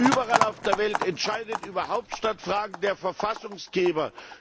Überall auf der Welt entscheidet über Hauptstadtfragen der Verfassungsgeber.